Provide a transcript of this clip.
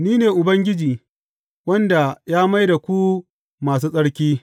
Ni ne Ubangiji, wanda ya mai da ku masu tsarki.’